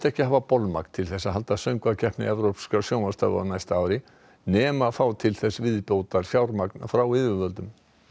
ekki hafa bolmagn til að halda Söngvakeppni evrópskra sjónvarpsstöðva á næsta ári nema fá til þess viðbótarfjármagn frá yfirvöldum